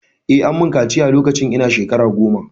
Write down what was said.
Eh, ammun kaciya lokacin ina shkara goma.